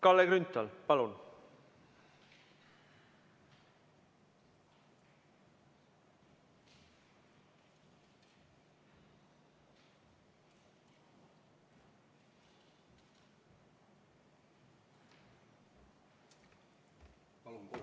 Kalle Grünthal, palun!